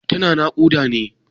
Tana naƙuda ne?